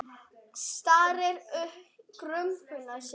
Starir í gaupnir sér.